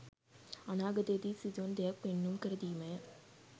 අනාගතයේදී සිදුවන දෙයක් පෙන්නුම් කර දීමය.